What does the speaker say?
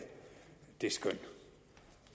det skøn